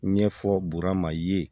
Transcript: Ɲɛfɔ burama ye